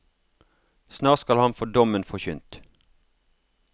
Snart skal han få dommen forkynt.